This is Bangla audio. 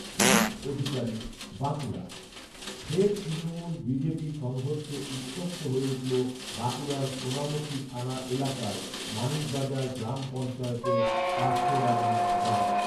তুহিন অধিকারী, বাঁকুড়া, ফের তৃণমূল বিজেপি সংঘর্ষে উত্তপ্ত হয়ে উঠল বাঁকুড়ার সোনামুখী থানা এলাকার মানিকবাজার গ্রাম পঞ্চায়েতের কাষ্ঠডাঙ্গা গ্রাম